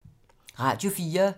Radio 4